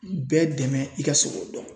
Bɛɛ dɛmɛ i ka se k'o dɔn.